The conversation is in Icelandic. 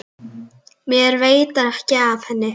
Mér veitir ekki af henni.